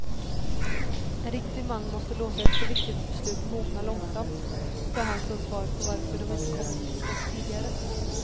En riktig man måste låta ett så viktigt beslut mogna långsamt, sade han som svar på varför de inte kommit till skott tidigare.